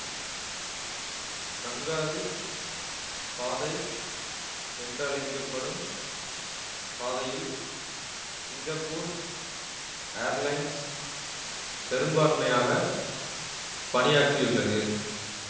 kangaroo பாதை என்றழைக்க படும் பாதையில் சிங்கப்பூர் ஏர்லைன்ஸ் பெரும்பான்மையாக பணியாற்றியுள்ளது